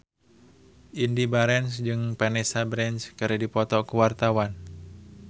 Indy Barens jeung Vanessa Branch keur dipoto ku wartawan